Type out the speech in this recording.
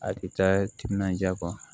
A tɛ taa timinandiya kɔ